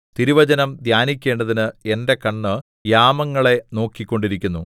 തിരുവചനം ധ്യാനിക്കേണ്ടതിന് എന്റെ കണ്ണ് യാമങ്ങളെ നോക്കിക്കൊണ്ടിരിക്കുന്നു